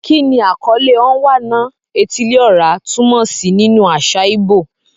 Kí ni àkọlé "Onwa-na-etili-ora" túmọ̀ sí nínú àṣà ìgbò?